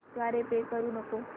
द्वारे पे करू नको